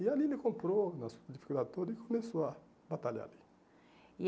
E ali ele comprou, nas dificuldades todas, e começou a batalhar ali. E